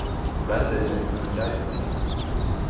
Verðirnir munu gæta þín.